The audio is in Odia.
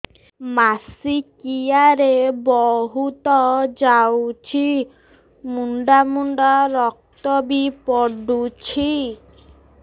ମାସିକିଆ ରେ ବହୁତ ଯାଉଛି ମୁଣ୍ଡା ମୁଣ୍ଡା ରକ୍ତ ବି ପଡୁଛି